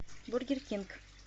бургер кинг